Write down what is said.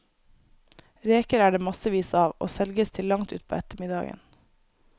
Reker er det massevis av, og selges til langt utpå ettermiddagen.